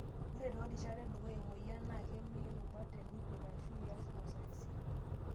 Ore toorishat edukuya emoyian, naa kemei rubat tenikwet aashu ias masoesi.